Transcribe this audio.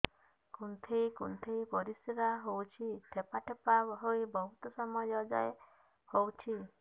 କୁନ୍ଥେଇ କୁନ୍ଥେଇ ପରିଶ୍ରା ହଉଛି ଠୋପା ଠୋପା ହେଇ ବହୁତ ସମୟ ଯାଏ ହଉଛି